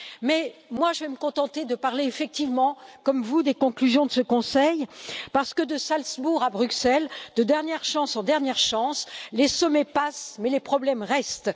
Mais moi je vais me contenter de parler effectivement, comme vous, des conclusions de ce Conseil parce que de Salzbourg à Bruxelles, de dernière chance en dernière chance, les sommets passent mais les problèmes restent.